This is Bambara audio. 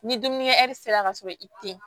Ni dumunikɛɛri sera ka sɔrɔ i te yen